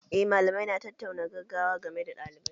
Eh malamai na tattaunawar gaggawa game da ɗalibai